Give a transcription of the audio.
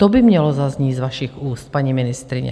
To by mělo zaznít z vašich úst, paní ministryně.